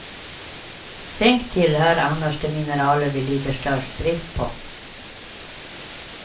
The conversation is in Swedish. Zink tillhör annars de mineraler vi lider störst brist på.